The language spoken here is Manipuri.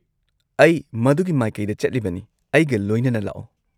-ꯑꯩ ꯃꯗꯨꯒꯤ ꯃꯥꯏꯀꯩꯗ ꯆꯠꯂꯤꯕꯅꯤ, ꯑꯩꯒ ꯂꯣꯏꯅꯅ ꯂꯥꯛꯑꯣ ꯫